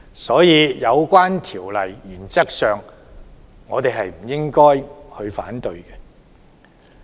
所以，原則上，我們不應反對有關修例。